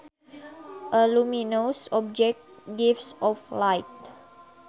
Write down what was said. A luminous object gives off light